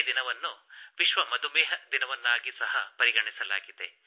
ಅದೇ ದಿನವನ್ನು ವಿಶ್ವ ಮಧುಮೇಹ ದಿನವನ್ನಾಗಿ ಸಹ ಪರಿಗಣಿಸಲಾಗಿದೆ